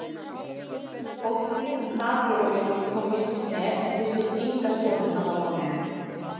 Fólkið sem sat í rólegheitum og fylgdist með virtist enga skoðun hafa á málinu.